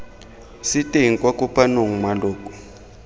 se teng kwa kopanong maloko